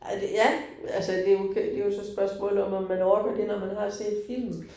Ej det ja, men altså det jo det jo så spørgsmålet, om om man orker det, når man har set filmen